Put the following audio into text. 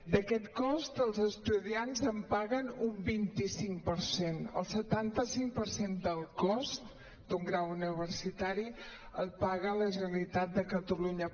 d’aquest cost els estudiants en paguen un vint cinc per cent el setanta cinc per cent del cost d’un grau universitari el paga la generalitat de catalunya